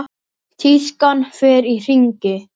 Tískan fer í hringi.